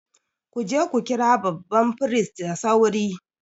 Ku je ku kira babban firist da sauri!